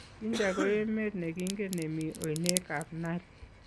Jinja ko emet ne kingen ne mii oinekab Nile.